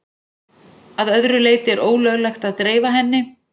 Að öðru leyti er ólöglegt að dreifa henni.